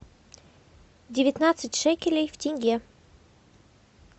девятнадцать шекелей в тенге